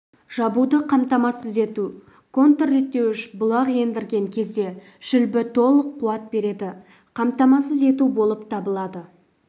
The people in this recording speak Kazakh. жабуды қамтамасыз ету контрреттеуіш бұлақ ендірген кезде шүлбі толық қуат беруді қамтамасыз ету болып табылады